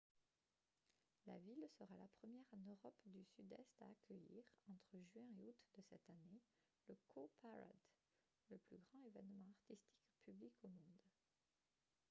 la ville sera la première en europe du sud-est à accueillir entre juin et août de cette année le cowparade le plus grand événement artistique public au monde